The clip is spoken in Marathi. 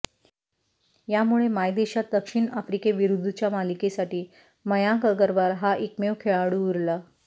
यामुळे मायदेशात दक्षिण आफ्रिकेविरुद्धच्या मालिकेसाठी मयांक अगरवाल हा एकमेव खेळाडू उरला